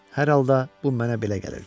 Hər halda bu mənə belə gəlirdi.